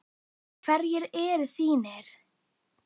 Og hverjir eru þínir?